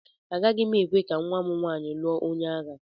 Agaghị m ekwe ka nwa m nwaanyị lụọ onye agha.